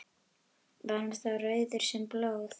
Var hann þá rauður sem blóð.